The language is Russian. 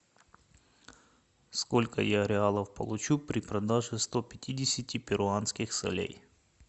сколько я реалов получу при продаже сто пятидесяти перуанских солей